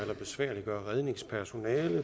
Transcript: besværliggøre redningspersonalet